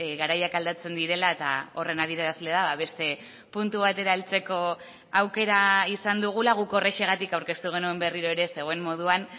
garaiak aldatzen direla eta horren adierazlea beste puntu batera heltzeko aukera izan dugula guk horrexegatik aurkeztu genuen berriro ere zegoen moduan